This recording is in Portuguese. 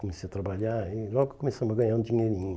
Comecei a trabalhar e logo começamos a ganhar um dinheirinho.